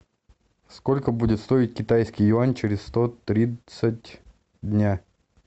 сколько будет стоить китайский юань через сто тридцать дня